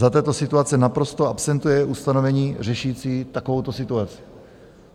Za této situace naprosto absentuje ustanovení řešící takovouto situaci.